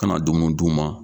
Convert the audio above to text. Kana na dumuni d'u ma